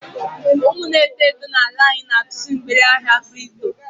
Umu n'eto eto n'ala anyị na-atụzị mgbere ahịa kripto.